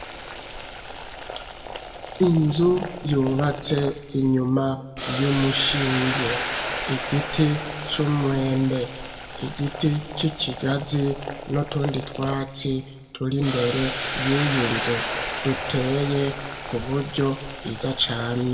Inzu yubatse inyuma y'umushinge; igiti c'umwembe, igiti c'ikigazi, n'utundi twatsi turi imbere y'iyi nzu, duteye ku buryo bwiza cane.